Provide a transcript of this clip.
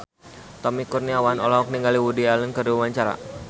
Tommy Kurniawan olohok ningali Woody Allen keur diwawancara